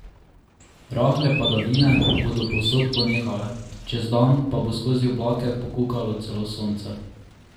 Rahle padavine bodo povsod ponehale, čez dan pa bo skozi oblake pokukalo celo sonce.